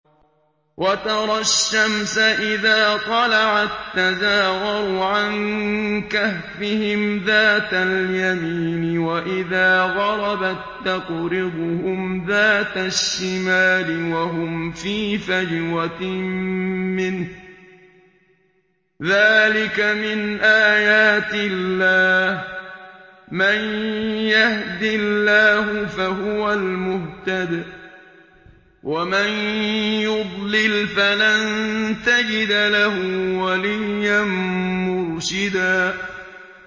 ۞ وَتَرَى الشَّمْسَ إِذَا طَلَعَت تَّزَاوَرُ عَن كَهْفِهِمْ ذَاتَ الْيَمِينِ وَإِذَا غَرَبَت تَّقْرِضُهُمْ ذَاتَ الشِّمَالِ وَهُمْ فِي فَجْوَةٍ مِّنْهُ ۚ ذَٰلِكَ مِنْ آيَاتِ اللَّهِ ۗ مَن يَهْدِ اللَّهُ فَهُوَ الْمُهْتَدِ ۖ وَمَن يُضْلِلْ فَلَن تَجِدَ لَهُ وَلِيًّا مُّرْشِدًا